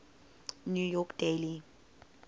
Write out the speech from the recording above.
new york daily